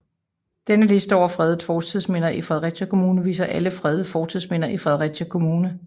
Denne liste over fredede fortidsminder i Fredericia Kommune viser alle fredede fortidsminder i Fredericia Kommune